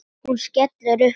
Hún skellir upp úr.